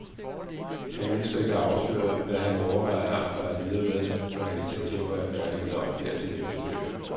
Han ønsker ikke at afsløre, hvad han overvejer at arbejde videre med, når han i september er færdig med at oplære sin efterfølger.